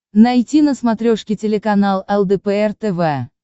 найти на смотрешке телеканал лдпр тв